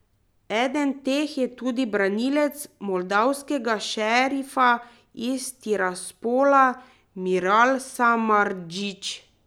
Eden teh je tudi branilec moldavskega Šerifa iz Tiraspola Miral Samardžić.